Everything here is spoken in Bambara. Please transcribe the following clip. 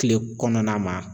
Kile kɔnɔna ma.